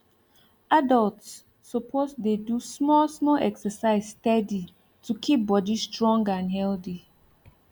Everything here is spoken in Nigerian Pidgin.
adults suppose dey do small small exercise steady to keep body strong and healthy